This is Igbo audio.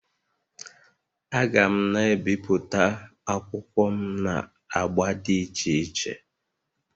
Aga'm na-ebipụta akwụkwọ m na agba dị iche iche